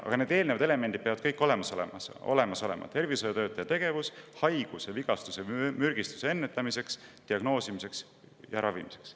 Aga sellele eelnevad elemendid peavad kõik olemas olema: tervishoiutöötaja tegevus haiguse, vigastuse või mürgistuse ennetamiseks, diagnoosimiseks ja ravimiseks.